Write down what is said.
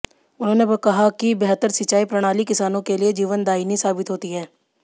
उन्होंने कहा कि बेहतर सिंचाई प्रणाली किसानों के लिए जीवनदायिनी साबित होती है